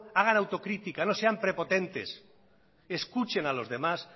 hagan autocrítica no sean prepotentes escuchen a los demás